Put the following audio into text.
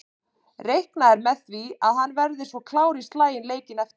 Reiknað er með því að hann verði svo klár í slaginn leikinn eftir.